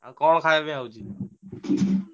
ଆଉ କଣ ଖାୟା ପିୟା ହଉଛି?